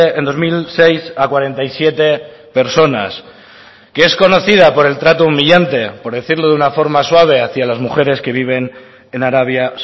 en dos mil seis a cuarenta y siete personas que es conocida por el trato humillante por decirlo de una forma suave hacia las mujeres que viven en arabia